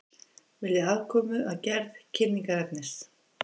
Vilja aðkomu að gerð kynningarefnis